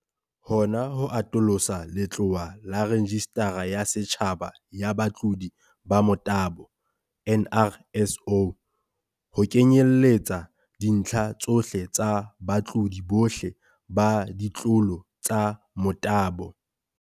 Hona ho atolosa letlowa laRejistara ya Setjhaba ya Batlodi ba Motabo, NRSO, ho kenyelletsa dintlha tsohle tsa batlodi bohle ba ditlolo tsa motabo.